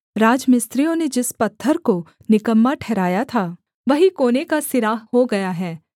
राजमिस्त्रियों ने जिस पत्थर को निकम्मा ठहराया था वही कोने का सिरा हो गया है